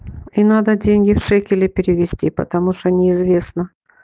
и надо деньги в шекели перевести потому что неизвестно